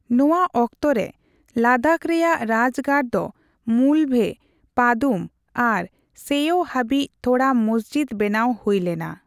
ᱱᱚᱣᱟ ᱚᱠᱛᱚ ᱨᱮ ᱞᱟᱫᱟᱠᱷ ᱨᱮᱭᱟᱜ ᱨᱟᱡᱜᱟᱲ ᱫᱚ ᱢᱩᱞᱵᱷᱮ, ᱯᱟᱫᱩᱢ ᱟᱨ ᱥᱮᱭ ᱦᱟᱹᱵᱤᱡ ᱛᱷᱚᱲᱟ ᱢᱚᱥᱡᱤᱛ ᱵᱮᱱᱟᱣ ᱦᱩᱭ ᱞᱮᱱᱟ ᱾